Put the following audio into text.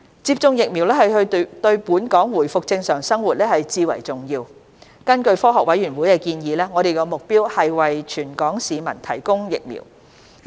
接種疫苗對本港回復正常生活至為重要，根據科學委員會的建議，我們的目標是為全港市民提供疫苗。